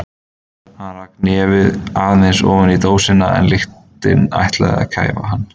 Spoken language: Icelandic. Hann rak nefið aðeins ofan í dósina en lyktin ætlaði að kæfa hann.